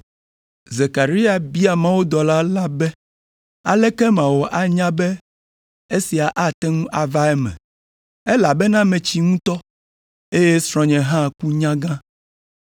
Zekaria bia mawudɔla la be, “Aleke mawɔ anya be esia ate ŋu ava eme, elabena metsi ŋutɔ, eye srɔ̃nye hã ku nyagã?”